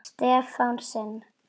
Stefán sinn.